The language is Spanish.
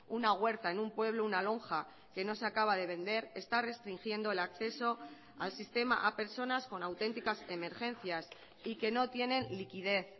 una huerta en un pueblo una lonja que no se acaba de vender está restringiendo el acceso al sistema a personas con auténticas emergencias y que no tienen liquidez